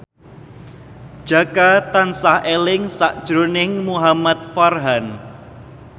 Jaka tansah eling sakjroning Muhamad Farhan